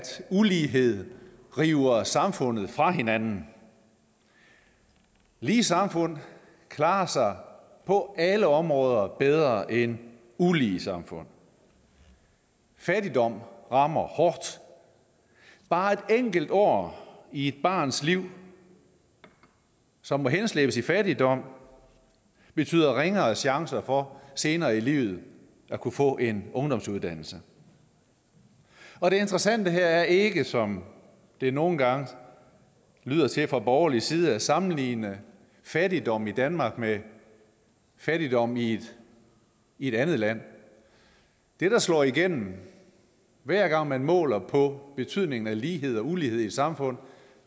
ulighed river samfundet fra hinanden lige samfund klarer sig på alle områder bedre end ulige samfund fattigdom rammer hårdt bare et enkelt år i et barns liv som må henslæbes i fattigdom betyder ringere chancer for senere i livet at kunne få en ungdomsuddannelse og det interessante her er ikke som det nogle gange lyder til fra borgerlig side at sammenligne fattigdom i danmark med fattigdom i i et andet land det der slår igennem hver gang man måler på betydningen af lighed og ulighed i et samfund